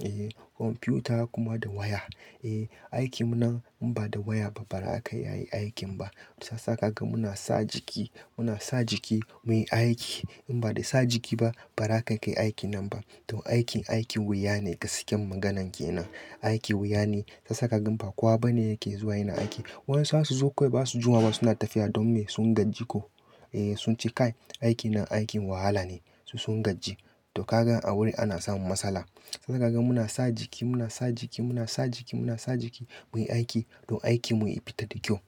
Eh kwamfuta kuma da waya. Eh aikin mu nan in ba da waya ba za ka iya aikin ba. Saboda haka muna sa jiki, muna sa jiki muyi aiki. In ba da sa jiki ba ba za ka kayi aikin nan ba. To aikin, aikin wuya ne gaskiyar maganan kenan. Aikin wuya ne. Shiyasa ka gan ba kowa bane yake zuwa yana aikin. Waɗansu za su zo kawai baza su juma ba suna tafiya don me sun gaji ko. Eh sunce kai aiki nan aikin wahala ne. Su sun gajji. To ka gan a wurin ana samun matsala. Shiyasa kaga muna sa jiki, muna sa jiki, muna sa jiki, muna sa jiki muyi aiki don aikin mu ya fita da kyau.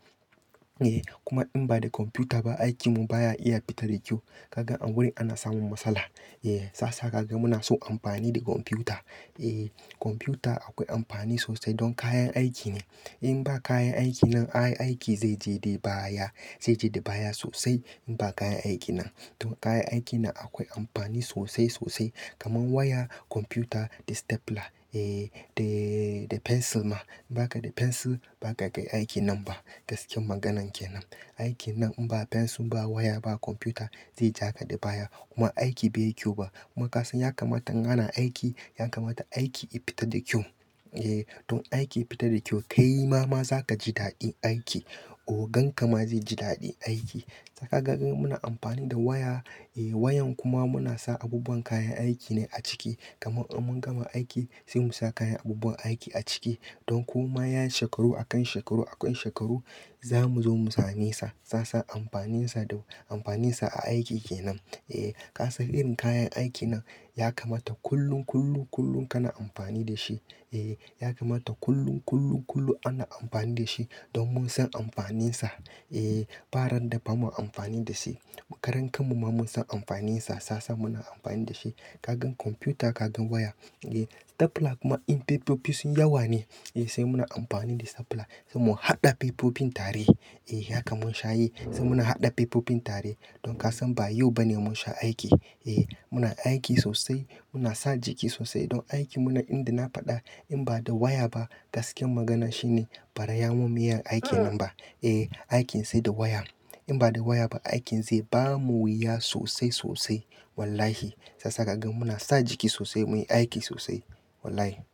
Eh kuma in ba da kwamfuta ba aikin mu baya iya fita da kyau. Ka gan a wurin ana samun matsala. Eh shiyasa kaga muna son amfani da kwamfuta. Eh kwamfuta akwai amfani sosai don kayan aiki ne. In ba kayan aiki nan ai aiki zai je dai baya, zai je da baya sosai in ba kayan aiki nan. To kayan aiki nan akwai amfani sosai sosai kamar waya, kwamfuta da stapler. Eh da, da pensil ma. In ba ka da pensil ba ka kayi aikin nan ba. Gaskiyar maganan kenan. Aikin nan in ba pensil ba waya ba kwamfuta zai ja ka da baya kuma aiki bai yi kyau ba. Kuma ka san ya kamata in ana aiki, ya kamata aiki ya fita da kyau. Eh don aiki ya fita da kyau, kaima ma zaka ji daɗin aiki. Ogan ka ma zai ji daɗin aiki. Shiyasa kaga muna amfani da waya. Eh wayan kuma muna sa abubuwan kayan aiki ne a ciki. Kamar in mun gama aiki sai mu sa kayan abubuwan aiki a ciki. Don kuma yayi shekaru akan shekaru akan shekaru za mu zo mu same sa. Shiyasa amfanin sa da amfanin sa a aiki kenan. Eh ka san irin kayan aiki nan ya kamata kullun kullun kullun kana amfani da shi. Eh ya kamata kullun kullun kullun ana amfani da shi don mun san amfanin sa. Eh ba ran da bamu amfani da shi. Mu karan kanmu ma mun san amfanin sa shiyasa muna amfani da shi. Ka gan kwamfuta, ka gan waya. Eh stapler kuma in pepofi sunyi yawa ne eh sai muna amfani da stapler. Sai mu haɗa popofin tare. Eh haka mun sha yi. Sai muna haɗa popofin tare. Don ka san ba yau bane mun sha aiki. Eh muna aiki sosai. Muna sa jiki sosai don aikin mu nan inda na faɗa in ba da waya ba gaskiyar magana shine baza mu iya muyi aikin nan ba. Eh aikin sai da waya. In ba da waya ba aikin zai bamu wuya sosai sosai. Wallahi sassaƙa muna sa jiki sosai muyi aiki sosai. Wallahi.